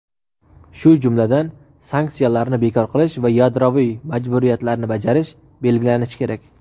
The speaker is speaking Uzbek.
shu jumladan "sanksiyalarni bekor qilish va yadroviy majburiyatlarni bajarish" belgilanishi kerak.